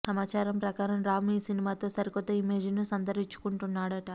సమాచారం ప్రకారం రామ్ ఈ సినిమాతో సరికొత్త ఇమేజ్ ను సంతరించుకుంటాడట